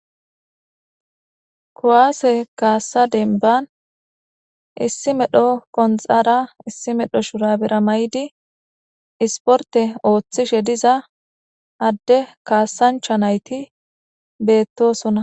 Kuwasse kassa denban issi medho qunxara issi medho shurabera mayidi isporte ooththishe diza adde kaassanchcha nayti beetosona.